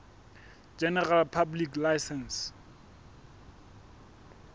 general public license